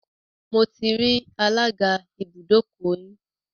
Mo ti rí alága ibùdókọ̀ yín.